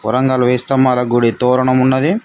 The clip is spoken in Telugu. వరంగల్ వేయి స్తంభాల గుడి తోరనమున్నది.